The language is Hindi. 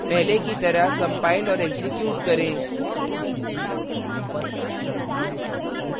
पहले की तरह compile और एक्जीक्यूट करें